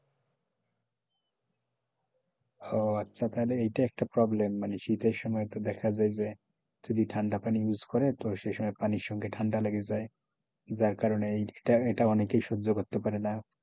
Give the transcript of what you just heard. ওহ আচ্ছা তাহলে এটা একটা এটা একটা problem মানে শীতের সময় দেখা যায় যে যদি ঠান্ডা পানী use করে তো সে সময় পানির সঙ্গে ঠান্ডা লেগে যায় যার কারণে এই এটা অনেকেই সহ্য করতে পারে না,